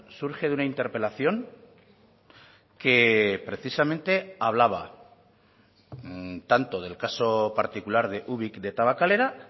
surge de una interpelación que precisamente hablaba tanto del caso particular de ubik de tabakalera